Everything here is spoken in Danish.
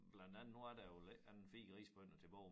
Blandt andet nu er der jo vel ikke andet end 4 risbønder tilbage